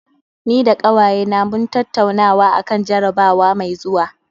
Ni da ƙawayena mun tattaunawa akan jarabawa mai zuwa